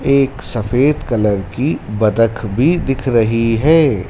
एक सफेद कलर की बतक भी दिख रही है।